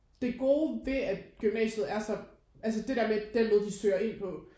Det gode ved at gymnasiet er så altså det der med den måde de søger ind på